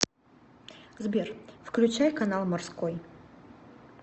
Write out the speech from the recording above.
сбер включай канал морской